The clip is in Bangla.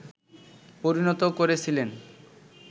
পরিণত করেছিলেন